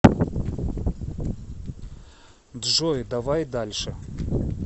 джой давай дальше